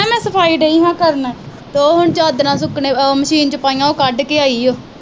ਸਫਾਈ ਲਗੀ ਆ ਕਰਨ। ਉਹ ਚਾਦਰਾਂ ਹੁਣ ਮਸ਼ੀਨ ਚ ਪਾਈਆਂ, ਉਹ ਕੱਢ ਕੇ ਆਈ ਆ।